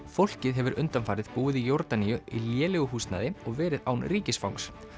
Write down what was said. fólkið hefur undanfarið búið í Jórdaníu í lélegu húsnæði og verið án ríkisfangs